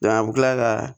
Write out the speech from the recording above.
a bɛ kila ka